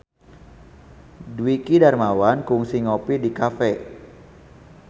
Dwiki Darmawan kungsi ngopi di cafe